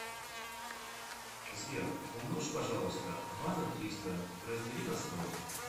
сбер умножь пожалуйста два на триста раздели на сто